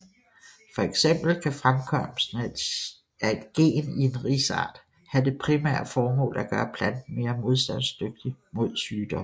Fx kan fremkomsten af et gen i en risart have det primære formål at gøre planten mere modstandsdygtig mod sygdomme